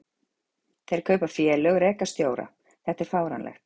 Þeir kaupa félög, reka stjóra, þetta er fáránlegt.